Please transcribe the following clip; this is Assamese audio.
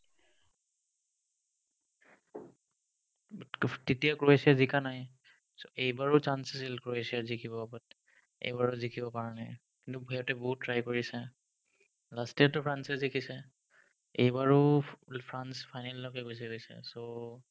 ক্ৰোফ্ তেতিয়া ক্ৰ'এছিয়া জিকা নাই so, এবাৰো chance আছিল ক্ৰ'এছিয়া জিকিব but এইবাৰো জিকিব পাৰা নাই বহুত try কৰিছে last year তেটো ফ্ৰান্সে জিকিছে এইবাৰো ফ্ৰা ~ ফ্ৰান্স final লৈকে গুচি গৈছে so